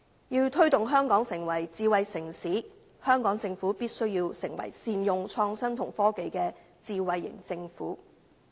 要推動香港成為智慧城市，香港政府必須成為善用創新及科技的智慧型政府。